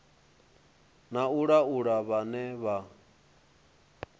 na u laula vhane vha